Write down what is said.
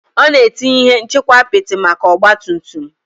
Ọ na-etinye ihe nchekwa apịtị maka ọgba tum tum